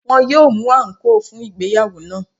Wọ́n yóò mú àǹkóò fún ìgbéyàwó náà.